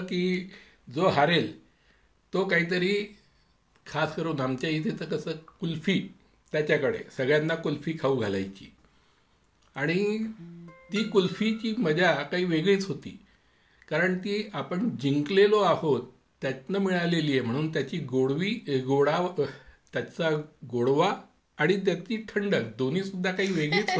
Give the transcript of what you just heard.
हो हो आणि कसं की जो हरेल तो काहीतरी खास करून आमच्या येथे कुल्फी कुल्फी खाऊ घालायचीआणि ती कुल्फी ची मजा काही वेगळीच होती कारण ती आपण जिंकलेलो आहोत त्यातनं मिळालेली आहे त्यातले गोडवी आणि गोडवा त्याची थंडक दोन्ही सुद्धा वेगळीच होती.